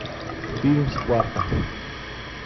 фильм спарта